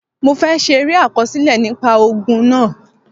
Mo fẹ́ ṣe eré àkọsílẹ̀ nípa ogun náà.